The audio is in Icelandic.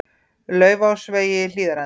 Laufásvegi Hlíðarenda